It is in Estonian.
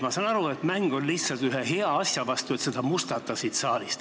Ma saan aru, et mäng käib lihtsalt ühe hea asja vastu, et seda mustata siin saalis.